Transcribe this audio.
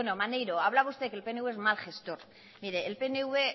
maneiro hablaba usted que el pnv es mal gestor mire el pnv